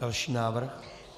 Další návrh.